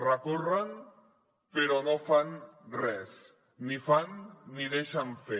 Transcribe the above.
recorren però no fan res ni fan ni deixen fer